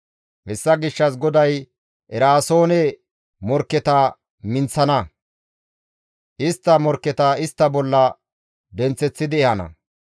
Hessa gishshas GODAY Eraasoone morkketa minththana; istta morkketa istta bolla denththeththidi ehana.